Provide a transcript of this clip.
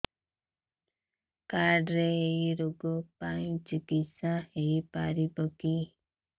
card ରେ ଏଇ ରୋଗ ପାଇଁ ଚିକିତ୍ସା ହେଇପାରିବ କି